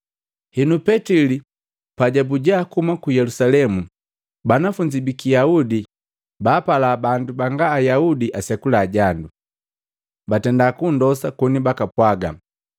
Henu, Petili pajabuja kuhuma ku Yelusalemu, banafunzi biki Yaudi baapala bandu banga ayaudi asekula jandu, batenda kunndosa koni baka pwaga,